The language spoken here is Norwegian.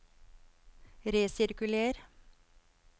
resirkuler